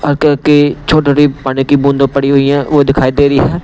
हल्की-हल्की की छोटी-छोटी पानी की बूंद पड़ी हुई है वो दिखाई दे रही है।